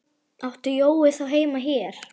Átti Jói þá heima hér?